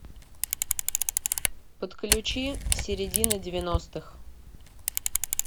подключи середина девяностых